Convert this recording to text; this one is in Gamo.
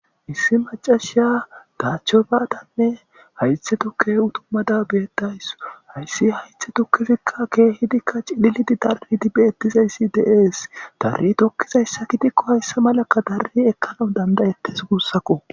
issi macashiya daachcho baadanne haythe tukke utummada beetdays hayssi haythe tukefikka keehidikka cidhilidi darridi beettizayssi deees darri tokkizayssa kidikko hayssa malakka dari ekkana dandayettes gussako